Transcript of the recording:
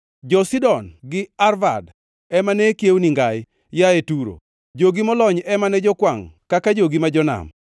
Jo-Sidon gi Arvad ema ne kiewoni ngai; yaye Turo, jogi molony ema ne jokwangʼ kaka jogi ma jonam.